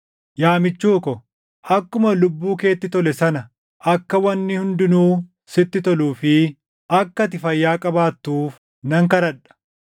Yaa michuu ko, akkuma lubbuu keetti tole sana akka wanni hundinuu sitti toluu fi akka ati fayyaa qabaattuuf nan kadhadha.